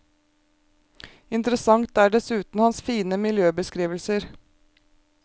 Interessant er dessuten hans fine miljøbeskrivelser.